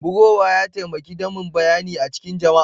Bugowa ya taimake damin bayyani cikin jama'a.